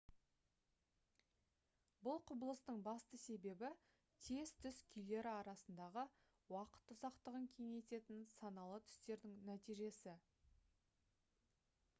бұл құбылыстың басты себебі тез түс күйлері арасындағы уақыт ұзақтығын кеңейтетін саналы түстердің нәтижесі